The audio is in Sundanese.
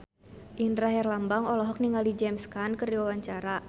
Indra Herlambang olohok ningali James Caan keur diwawancara